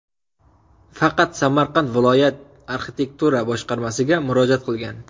Faqat Samarqand viloyat arxitektura boshqarmasiga murojaat qilgan.